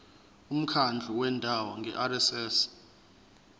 umkhandlu wendawo ngerss